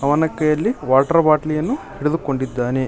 ಅವನ ಕೈಯಲ್ಲಿ ವಾಟರ್ ಬಾಟಲ್ಯನ್ನು ಹಿಡಿದುಕೊಂಡಿದ್ದಾನೆ.